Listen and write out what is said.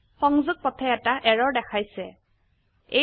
সংযোগ পথে এটা এৰৰ দেখাইছে160